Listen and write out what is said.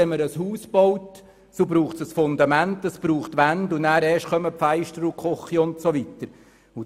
Wenn ein Haus gebaut wird, ist ein Fundament nötig, es bracht Wände und erst danach können die Fenster und die Küche und anderes kommen.